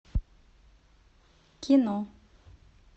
кино